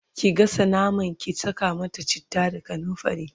ki gasa naman, ki Saka mata chitta da kanumfari!